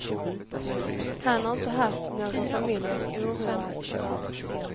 Han har inte haft någon familj att oroas för.